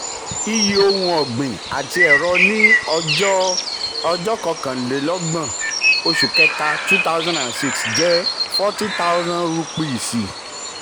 iyì ohun um ọ̀gbìn ati ẹ̀rọ ni um ọjọ́ ọjọ́ kọkànlélọ́gbọ̀n oṣù kẹta two thousand and six jẹ́ um forty thousand rúpíìsì.